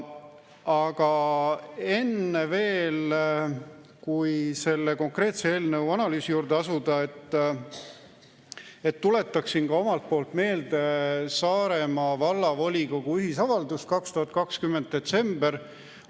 Aga enne veel, kui selle konkreetse eelnõu analüüsi juurde asuda, tuletaksin ka omalt poolt meelde Saaremaa Vallavolikogu ühisavaldust 2020. aasta detsembrist.